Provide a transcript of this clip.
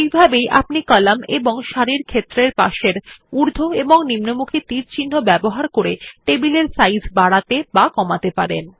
এভাবেই আপনি কলাম এবং সারির ক্ষেত্রের পাশের ঊর্ধ্ব এবং নিম্নমুখী তীরচিহ্ন ব্যবহার করে টেবিলের সাইজ বাড়াতে বা কমাতে পারেন